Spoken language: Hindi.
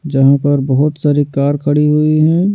जहाँ पर बहुत सारी कार खड़ी हुई हैं।